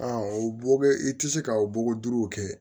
o bɔ bɛ i tɛ se ka o bɔgɔ duuru kɛ